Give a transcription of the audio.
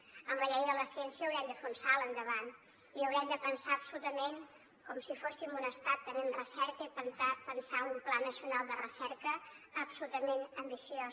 amb la llei de la ciència haurem de fer un salt endavant i haurem de pensar absolutament com si fóssim un estat també en recerca i pensar un pla nacional de recerca absolutament ambiciós